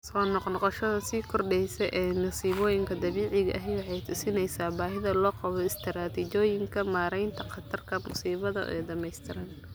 Soo noqnoqoshada sii kordheysa ee masiibooyinka dabiiciga ahi waxay tusinaysaa baahida loo qabo istaraatiijiyooyin maaraynta khatarta musiibada oo dhamaystiran.